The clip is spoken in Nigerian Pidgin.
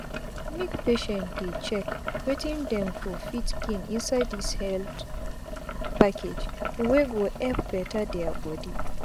make patient dey check wetin dem go fit gain inside dis health package wey go epp beta dia bodi